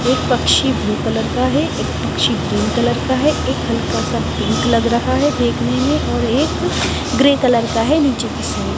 एक पक्षी भी ब्लू कलर का है एक पक्षी ग्रीन कलर का लग रहा है एक हल्का सा पिंक लग्ग रहा है देखने में और एक ग्रे कलर का है नीचे किसी --